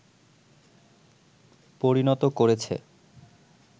পরিণত করেছে